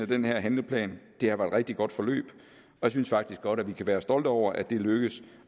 den her handleplan det har været et rigtig godt forløb og jeg synes faktisk godt vi kan være stolte over at det er lykkedes